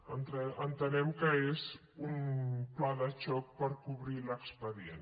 entenem que és un pla de xoc per cobrir l’expedient